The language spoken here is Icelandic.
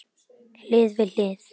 Hlið við hlið.